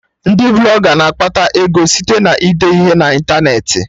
Ndị Blọga na-akpata ego site na ide ihe na ịntanetị